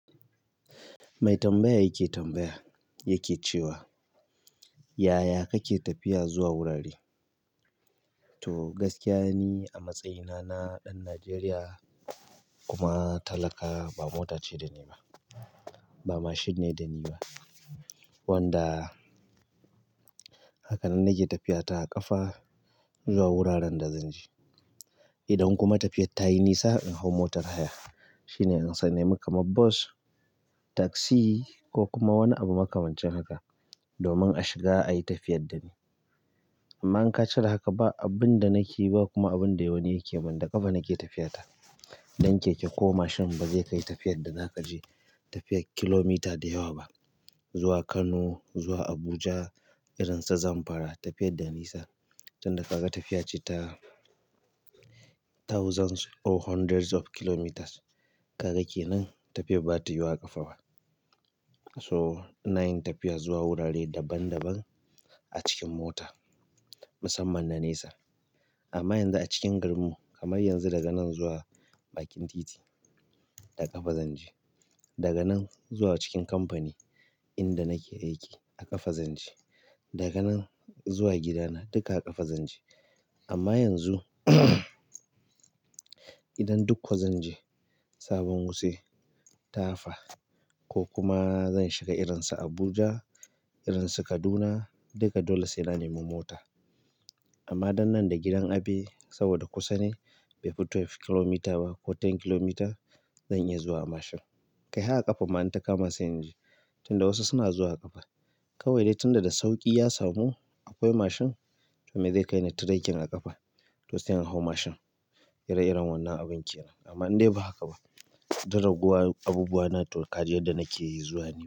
Mai tambaya yake tambaya yake cewa, "Yaya kake tafiya zuwa wurare?" To gaskiya ni a matsayina na ɗan Najeriya kuma talaka ba mota ce da niba, ba mashin ne da niba wanda haka nan nake tafiyata a ƙafa zuwa wuraren da zanje, idan kuma tafiyan tayi nisa in hau motan haya shine in san nemi kamar bas, taksi ko kuma wani abu makamancin haka domin a shiga ayi tafiyar da ni. Amma in ka cire haka ba abun da nake yi ba kuma abun da wani yake yi. Man da ƙafa nake tafiyata. Ɗan keke ko mashin ba zai kai tafiyar da za ka je tafiyar kilomita da yawa ba. Zuwa Kano, zuwa Abuja, irin su Zamfara tafiyar da nisa. Tunda ka ga tafiya ce ta thousands or hundreds of kilometers, ka ga ke nan tafiyar ba ta yiwuwa a ƙafa so ina yin tafiya zuwa wurare daban daban a cikin mota musamman na nesa. Amman yanzu a cikin garinmu, kamar yanzu daga nan zuwa bakin titi da ƙafa zanje, daga nan zuwa cikin kamfani inda nike aiki ƙafa zanje, daga nan zuwa gidana dika a ƙafa zanje, amma yanzu idan duk ƙwa zan je sabon wuse, tafa, ko kuma zan shiga irin su Abuja, irin su Kaduna duka dole sai na nemo mota. Amma dan nan da gidan abe saboda kusa ne bai fi twelve kilometre ba ko ten kilometres zan iya zuwa a mashin. Kai har a ƙafa ma in takama sai inje tunda wasu suna zuwa a ƙafa. Kawai dai tunda da sauƙi ya samu akwai mashin to me zai kai ni trekking a ƙafa to sai in hau mashin. Ire-iren wannan abun kenan. Amma in dai ba haka ba. Di rayuwar abubuwana to kaji yadda nake yi zuwa ne.